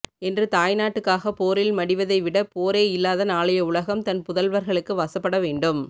என்று தாய்நாட்டுக்காக போரில் மடிவதை விட போரே இல்லாத நாளைய உலகம் தன் புதல்வர்களுக்கு வசப்பட வேண்டும்